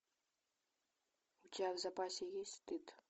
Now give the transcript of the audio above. у тебя в запасе есть стыд